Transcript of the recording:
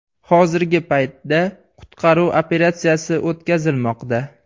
Hozirgi paytda qutqaruv operatsiyasi o‘tkazilmoqda.